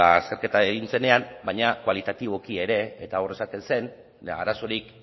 azterketa egin zenean baina kualitatiboki ere eta hor esaten zen arazorik